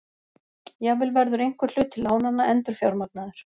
Jafnvel verður einhver hluti lánanna endurfjármagnaður